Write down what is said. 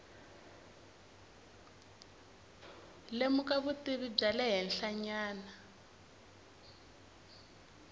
lemuka vutivi bya le henhlanyana